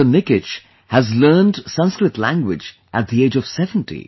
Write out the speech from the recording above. Nikich has learned Sanskrit language at the age of 70